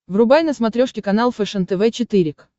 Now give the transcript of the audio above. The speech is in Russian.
врубай на смотрешке канал фэшен тв четыре к